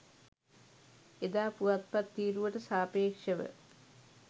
එදා පුවත්පත් තීරුවට සාපේක්ෂව